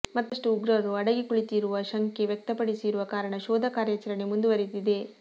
ಮತ್ತಷ್ಟು ಉಗ್ರರು ಅಡಗಿ ಕುಳಿತಿರುವ ಶಂಕೆ ವ್ಯಕ್ತ ಪಡಿಸಿರುವ ಕಾರಣ ಶೋಧ ಕಾರ್ಯಾಚರಣೆ ಮುಂದುವರಿದಿದೆ